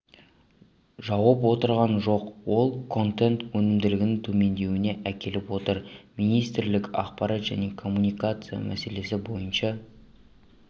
жауып отырған жоқ ол контент өнімділігінің төмендеуіне әкеліп отыр министрлік ақпарат және коммуникация мәселесі бойынша